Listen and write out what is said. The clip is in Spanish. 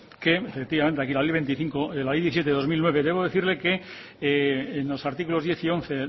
que efectivamente la ley diecisiete barra dos mil nueve debo decirle que en los artículos diez y once